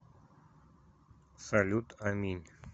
салют аминь